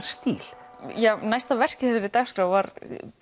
stíl já næsta verk í þessari dagskrá var